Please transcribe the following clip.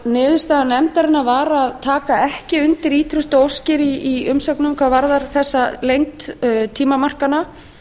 niðurstaða nefndarinnar var að taka ekki undir ýtrustu óskir í umsögnum hvað varðar þessa lengd tímamarkanna